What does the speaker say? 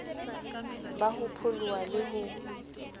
ba ho pholoha le ho